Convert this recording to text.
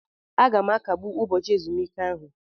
Aga m akagbu ụbọchị ezumike ahụ.